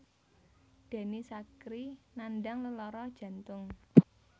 Denny Sakrie nandhang lelara jantung